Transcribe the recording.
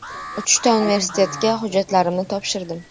Uchta universitetiga hujjatlarimni topshirdim.